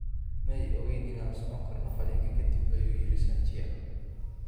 Ma ay ogayn in aan socon karno qalliinka ka dib, ayuu yiri Sanchia.